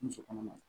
Muso kɔnɔma